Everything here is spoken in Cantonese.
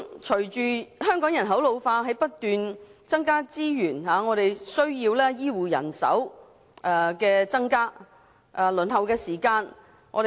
隨着香港人口老化，在不斷增加資源的同時，我們亦需增加醫護人手及縮短輪候時間。